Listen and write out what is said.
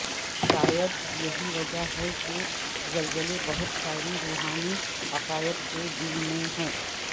شاید یہی وجہ ہے کہ زلزلے بہت ساری روحانی عقائد کے دل میں ہے